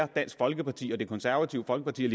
dansk folkeparti det konservative folkeparti